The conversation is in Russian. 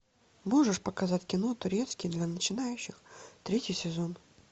можешь показать кино турецкий для начинающих третий сезон